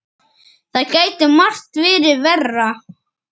Það gæti margt verið verra.